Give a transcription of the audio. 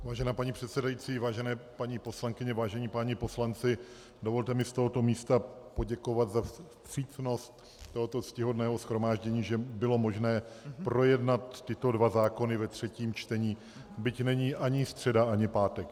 Vážená paní předsedající, vážené paní poslankyně, vážení páni poslanci, dovolte mi z tohoto místa poděkovat za vstřícnost tohoto ctihodného shromáždění, že bylo možné projednat tyto dva zákony ve třetím čtení, byť není ani středa ani pátek.